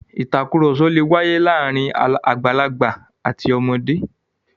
*Ìtàkurọ̀sọ lè wáyé láàárín àgbàlagbà àti ọmọdé.